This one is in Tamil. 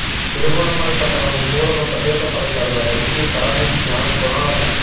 திருகோணமலை பட்டணமும் சூழலும் பிரதேச சபை தலைவர் வைத்திய கலாநிதி ஞானகுணாளன